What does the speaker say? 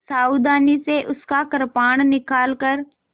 सावधानी से उसका कृपाण निकालकर